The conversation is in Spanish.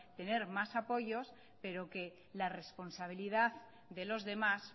tener más apoyos pero que la responsabilidad de los demás